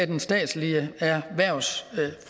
den statslige erhvervsfremme